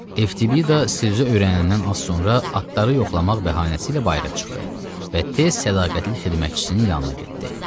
Evtibida Sizer öyrənəndən az sonra atları yoxlamaq bəhanəsi ilə bayıra çıxdı və tez sədaqətli xidmətçisinin yanına getdi.